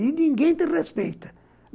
E ninguém te respeita.